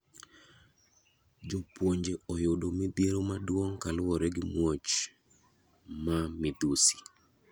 Jopuonje oyudo midhiero maduong kaluwore gi muoch ma midhusi.